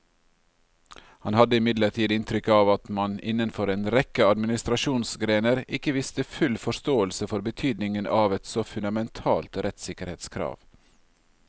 Han hadde imidlertid inntrykk av at man innenfor en rekke administrasjonsgrener ikke viste full forståelse for betydningen av et så fundamentalt rettssikkerhetskrav.